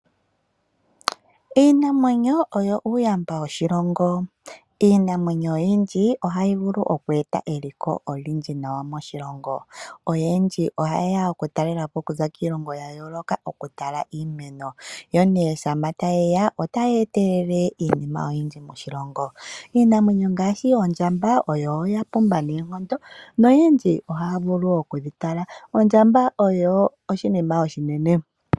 Iinamwenyo oyo uuyamba woshilongo, iinamwenyo oyindji ohayeeta eliko olindji nawa moshilongo. Aantu oyendji ohayeya okutalelapo okuza koondje dhiilongo yayoloka ha yeya okutala iinamwenyo yo née sho tayeya oha yeetelele iinima oyindji moshilongo. Iinamwenyo ngaashi oondjamba iinamwenyo mbika oya pumba noonkondo noyendji oha yeya okudhitala. Ondjamba oshinamwenyo oshinene.